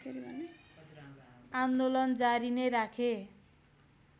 आन्दोलन जारी नै राखे